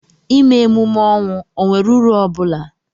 ịme emume ọnwụ ọ nwere uru ọ bụla?